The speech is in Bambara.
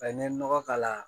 n ye nɔgɔ k'a la